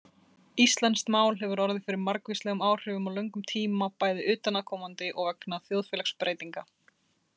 Íslenskt mál hefur orðið fyrir margvíslegum áhrifum á löngum tíma, bæði utanaðkomandi og vegna þjóðfélagsbreytinga.